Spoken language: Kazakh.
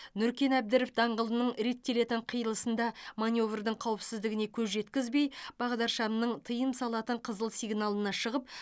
нүркен әбдіров даңғылының реттелетін қиылысында маневрдің қауіпсіздігіне көз жеткізбей бағдаршамның тыйым салатын қызыл сигналына шығып